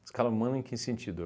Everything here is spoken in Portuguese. Escala humana, em que sentido?